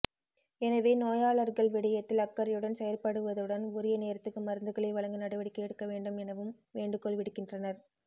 எனவே நோயாளர்கள் விடயத்தில் அக்கறையுடன் செயற்படுவதுடன் உரிய நேரத்துக்கு மருந்துகளை வழங்க நடவடிக்கை எடுக்க வேண்டும் எனவும் வேண்டுகோள் விடுக்கின்றனர்